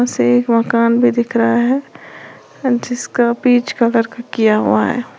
पीछे एक मकान भी दिख रहा है जिसका बीच कलर किया हुआ है।